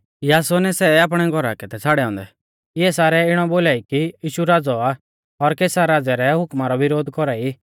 यासोनै सै आपणै घौरा कै थै छ़ाड़ै औन्दै इऐ सारै इणौ बोलाई कि यीशु राज़ौ आ और कैसर राज़ै रै हुकमा रौ विरोध कौरा ई